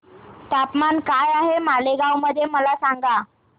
तापमान काय आहे मालेगाव मध्ये मला सांगा